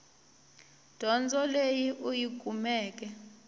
dyondzo leyi u yi kumeke